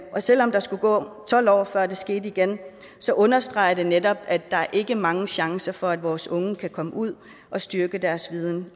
selv om der skulle gå tolv år før det skete igen så understreger det netop at der ikke er mange chancer for at vores unge kan komme ud og styrke deres viden